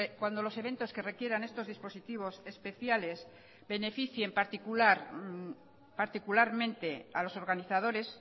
cuando los eventos que requieran estos dispositivos especiales beneficien particularmente a los organizadores